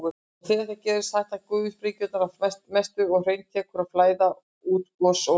Þegar það gerist hætta gufusprengingarnar að mestu og hraun tekur að flæða úr gosopinu.